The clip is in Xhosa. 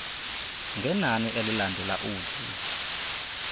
ngenani elilandela ud